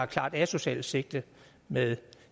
klart asocialt sigte med